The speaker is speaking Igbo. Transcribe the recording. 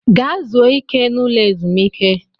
Gaa zuo ike n'ụlọ ezumiike!